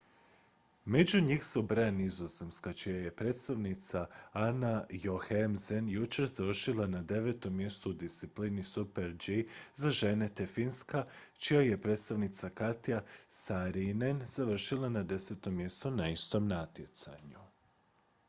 među njih se ubraja nizozemska čija je predstavnica anna jochemsen jučer završila na devetom mjestu u disciplini super-g za žene te finska čija je predstavnica katja saarinen završila na desetom mjestu na istom natjecanju